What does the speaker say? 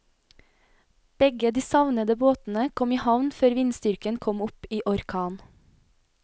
Begge de savnede båtene kom i havn før vindstyrken kom opp i orkan.